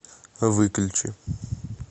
выключи